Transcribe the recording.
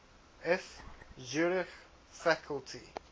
eth zurich faculty